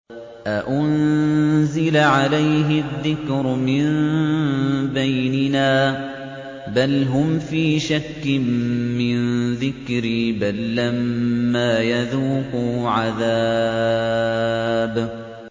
أَأُنزِلَ عَلَيْهِ الذِّكْرُ مِن بَيْنِنَا ۚ بَلْ هُمْ فِي شَكٍّ مِّن ذِكْرِي ۖ بَل لَّمَّا يَذُوقُوا عَذَابِ